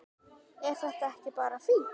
Er þetta ekki bara fínt?